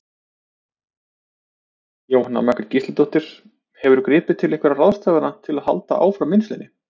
Jóhanna Margrét Gísladóttir: Hefurðu gripið til einhverja ráðstafana til að halda áfram vinnslunni?